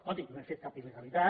escolti no hem fet cap il·legalitat